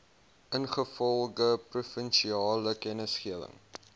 ingevolge provinsiale kennisgewing